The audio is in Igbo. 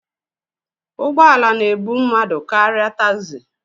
Ụgbọ ala na-ebu mmadụ karịa tagzi.